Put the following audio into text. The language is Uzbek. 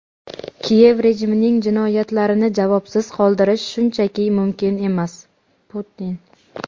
Kiyev rejimining jinoyatlarini javobsiz qoldirish shunchaki mumkin emas – Putin.